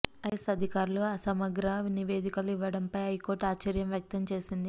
IAS అధికారులు అసమగ్ర నివేదికలు ఇవ్వడంపై హైకోర్టు ఆశ్చర్యం వ్యక్తం చేసింది